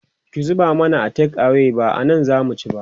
ki zuba mana a take away ba anan zamu ci ba